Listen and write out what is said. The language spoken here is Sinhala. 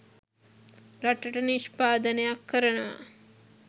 රටට නිෂ්පාදනයක් කරනවා.